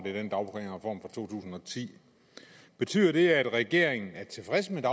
to tusind og ti betyder det at regeringen er tilfreds med